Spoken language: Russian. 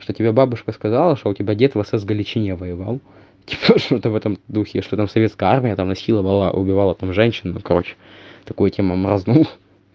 что тебе бабушка сказала что у тебя дед в сс голечине воевал типа что-то в этом духе что там советская армия там насиловала убивала там женщину короче такую тему морознул